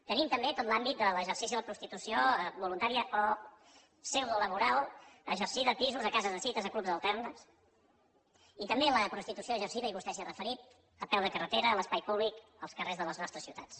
tenim també tot l’àmbit de l’exercici de la prostitució voluntària o pseudolaboral exercida a pisos a cases de cites a clubs d’alterne i vostè s’hi ha referit a peu de carretera a l’espai públic als carrers de les nostres ciutats